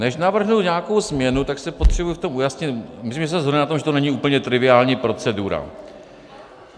Než navrhnu nějakou změnu, tak si potřebuji v tom ujasnit - myslím, že se shodneme na tom, že to není úplně triviální procedura.